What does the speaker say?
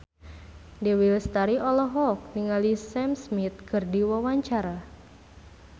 Dewi Lestari olohok ningali Sam Smith keur diwawancara